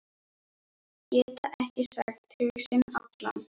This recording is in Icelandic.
Geta ekki sagt hug sinn allan.